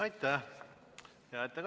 Aitäh!